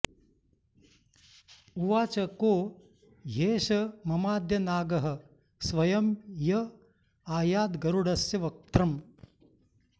उवाच को ह्येष ममाद्य नागः स्वयं य आयाद्गरुडस्य वक्त्रम्